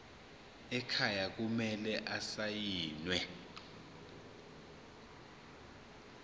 ekhaya kumele asayiniwe